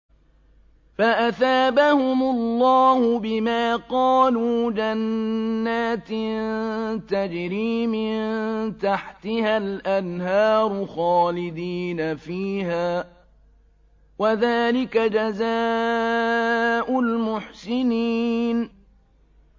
فَأَثَابَهُمُ اللَّهُ بِمَا قَالُوا جَنَّاتٍ تَجْرِي مِن تَحْتِهَا الْأَنْهَارُ خَالِدِينَ فِيهَا ۚ وَذَٰلِكَ جَزَاءُ الْمُحْسِنِينَ